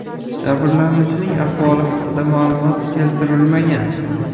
Jabrlanuvchining ahvoli haqida ma’lumot keltirilmagan.